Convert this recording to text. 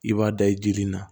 I b'a da i jiri la